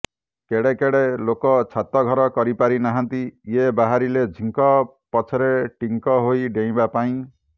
କେଡ଼େ କେଡ଼େ ଲୋକ ଛାତଘର କରିପାରିନାହାନ୍ତି ଇଏ ବାହାରିଲେ ଝିଙ୍କ ପଛରେ ଟିଙ୍କ ହୋଇ ଡେଇଁବା ପାଇଁ